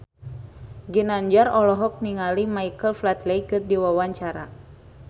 Ginanjar olohok ningali Michael Flatley keur diwawancara